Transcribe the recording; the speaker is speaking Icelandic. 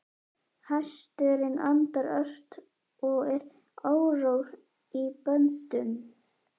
Hesturinn andar ört og er órór í böndum.